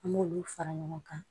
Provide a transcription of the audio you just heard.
An b'olu fara ɲɔgɔn kan